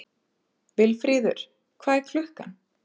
Vilfríður, hvað er klukkan?